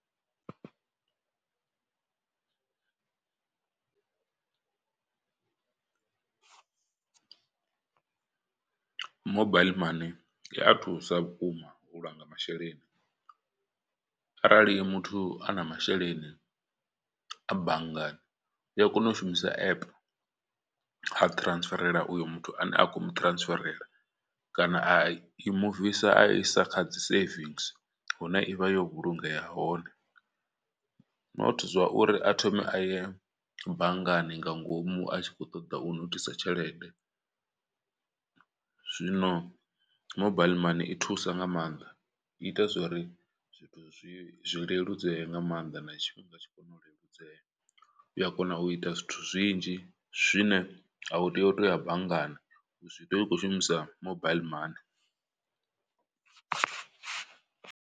Mobile money i a thusa vhukuma u langa masheleni, arali muthu a na masheleni a banngani u a kona u shumisa app ha ṱransferela uyo muthu ane a khomu ṱransferela. Kana a i muvisa a isa kha dzi savings hune ivha yo vhulungea hone, not zwa uri a thome a ye banngani nga ngomu a tshi kho ṱoḓa u nothisa tshelede. Zwino mobile money i thusa nga maanḓa i ita zwori zwithu zwi zwi leludzeye nga maanḓa na tshifhinga tshi kona u leludzea u ya kona u ita zwithu zwinzhi zwine a u tea u to ya banngani zwi tea u khou shumisa mobile money.